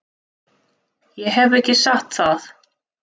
Ég hef ekki sagt það!